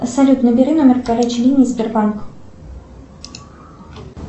салют набери номер горячей линии сбербанк